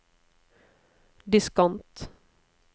diskant